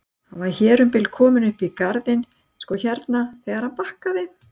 Hann var hér um bil kominn upp í garðinn sko hérna þegar hann bakkaði.